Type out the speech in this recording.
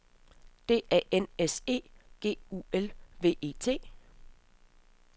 D A N S E G U L V E T